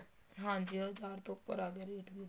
ਹਾਂਜੀ ਹਜ਼ਾਰ ਤੋ ਉੱਪਰ ਆ ਗਿਆ ਰੇਟ ਵੀ